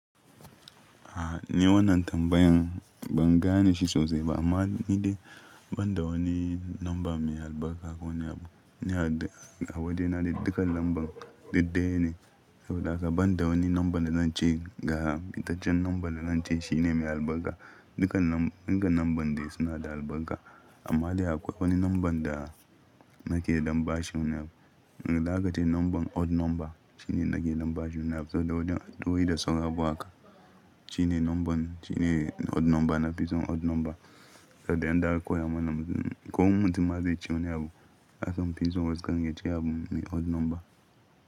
A ni wannan tambayan ban gane shi sosai ba amma ni dai banda wani namba mai albarka ko wani abu. Ni a waɗannan dukka lambun daidai ne, saboda haka banda wani namba da zan ce ga, ita ce nambar da zan ce shine mai albarka. Dukka lambun, duka lambun dai suna da albarka amma dai akwai wani namba da nake dam bashi wune abu. Dukka ita ce namban odd namba shine nake da mbashi wune abu saboda wurin ado da saurabo haka shine namban shine odd namba na fi son odd namba. Saboda in da akwai a manan ko wani mutum ma zai ce wani abu, ason fi son wasu kan ya ce abu ne odd namba.